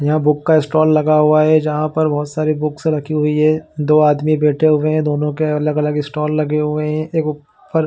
यहाँ बूक का स्टॉल लगा हुआ है जहाँ पर बहुत सारे बुक्स रखी हुई है दो आदमी बैठे हुए है दोनों के अलग-अलग स्टॉल लगे हुए है एक ऊपर --